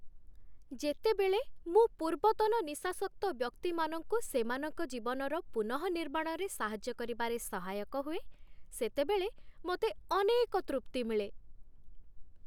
ଯେତେବେଳେ ମୁଁ ପୂର୍ବତନ ନିଶାସକ୍ତ ବ୍ୟକ୍ତିମାନଙ୍କୁ ସେମାନଙ୍କ ଜୀବନର ପୁନଃନିର୍ମାଣରେ ସାହାଯ୍ୟ କରିବାରେ ସହାୟକ ହୁଏ, ସେତେବେଳେ ମୋତେ ଅନେକ ତୃପ୍ତି ମିଳେ।